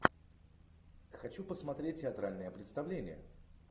хочу посмотреть театральное представление